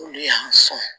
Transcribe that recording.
Olu y'an sɔn